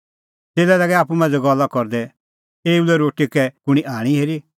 च़ेल्लै लागै आप्पू मांझ़ै गल्ला करदै एऊ लै रोटी कै कुंणी आणी हेरी